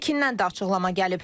Pekindən də açıqlama gəlib.